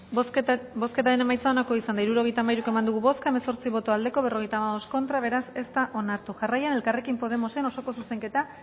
bozketaren emaitza onako izan da hirurogeita hamairu eman dugu bozka hemezortzi boto aldekoa cincuenta y cinco contra beraz ez da onartu jarraian elkarrekin podemosen osoko zuzenketa